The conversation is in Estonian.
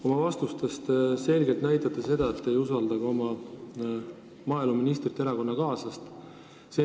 Oma vastustega te selgelt näitate, et te ei usalda ka maaeluministrit, oma erakonnakaaslast.